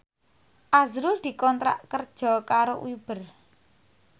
azrul dikontrak kerja karo Uber